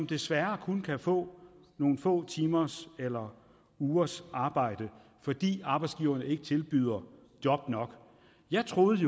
desværre kun kan få nogle få timers eller ugers arbejde fordi arbejdsgiverne ikke tilbyder job nok jeg troede